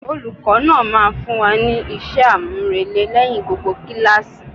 Olùkó náà máa fún wa ní isé àmúrelé lẹ́yìn gbogbo kíláàsì.